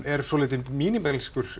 er svolítið